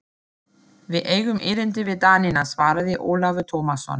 Við eigum erindi við Danina, svaraði Ólafur Tómasson.